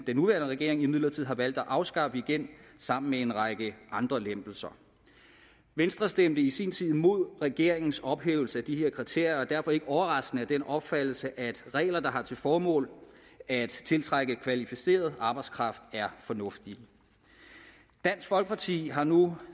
den nuværende regering imidlertid har valgt at afskaffe igen sammen med en række andre lempelser venstre stemte i sin tid mod regeringens ophævelse af de her kriterier og er derfor ikke overraskende af den opfattelse at regler der har til formål at tiltrække kvalificeret arbejdskraft er fornuftige dansk folkeparti har nu